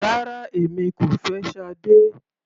Rárá, èmi kò fẹ́ Sade.